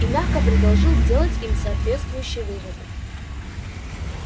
и мягко предложил сделать им соответствующие выводы